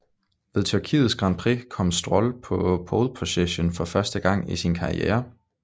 Ved Tyrkiets Grand Prix kom Stroll på pole position for første gang i sin karriere